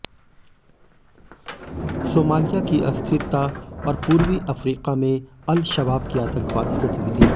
Somalia की अस्थिरता और पूर्वी अफ़्रीका में अल शबाब की आतंकवादी गतिविधियां